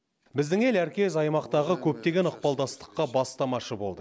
біздің ел әркез аймақтағы көптеген ықпалдықтастыққа бастамашы болды